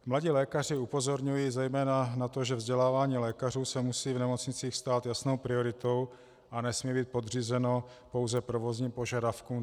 Mladí lékaři upozorňují zejména na to, že vzdělávání lékařů se musí v nemocnicích stát jasnou prioritou a nesmí být podřízeno pouze provozním požadavkům.